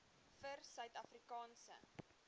vir suid afrikaanse